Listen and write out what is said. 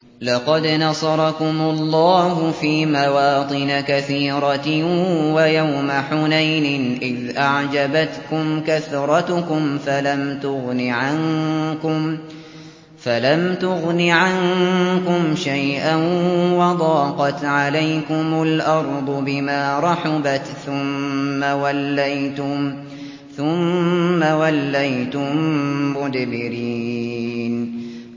لَقَدْ نَصَرَكُمُ اللَّهُ فِي مَوَاطِنَ كَثِيرَةٍ ۙ وَيَوْمَ حُنَيْنٍ ۙ إِذْ أَعْجَبَتْكُمْ كَثْرَتُكُمْ فَلَمْ تُغْنِ عَنكُمْ شَيْئًا وَضَاقَتْ عَلَيْكُمُ الْأَرْضُ بِمَا رَحُبَتْ ثُمَّ وَلَّيْتُم مُّدْبِرِينَ